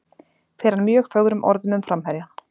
Fer hann mjög fögrum orðum um framherjann.